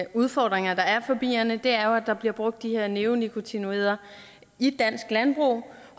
udfordringer der er for bierne er jo at der bliver brugt de her neonikotinoider i dansk landbrug